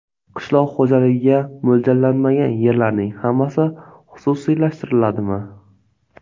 Qishloq xo‘jaligiga mo‘ljallanmagan yerlarning hammasi xususiylashtiriladimi?